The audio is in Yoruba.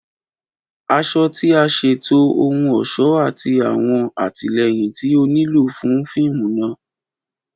Aṣọ ti a ṣeto ohun ọṣọ ati awọn atilẹyin ti o nilo fun fiimu naa